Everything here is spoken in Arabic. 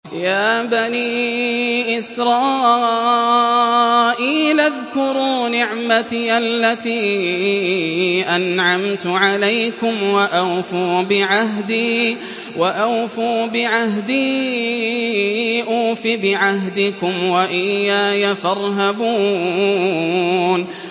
يَا بَنِي إِسْرَائِيلَ اذْكُرُوا نِعْمَتِيَ الَّتِي أَنْعَمْتُ عَلَيْكُمْ وَأَوْفُوا بِعَهْدِي أُوفِ بِعَهْدِكُمْ وَإِيَّايَ فَارْهَبُونِ